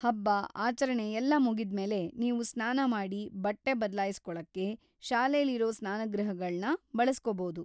ಹಬ್ಬ, ಆಚರಣೆ ಎಲ್ಲ ಮುಗಿದ್ಮೇಲೆ ನೀವು ಸ್ನಾನ ಮಾಡಿ ಬಟ್ಟೆ ಬದ್ಲಾಯಿಸ್ಕೊಳಕ್ಕೆ ಶಾಲೆಲಿರೋ ಸ್ನಾನಗೃಹಗಳ್ನ ಬಳಸ್ಕೊ‌ಬೋದು.